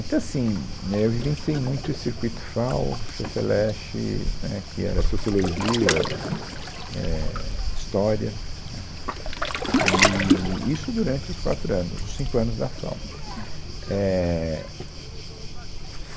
Então, assim, né, eu vivenciei muito esse circuito FAO, FEFELECHE, né, que era Sociologia, é, História, né, eee, e isso durante os quatro anos, os cinco anos da FAO, é,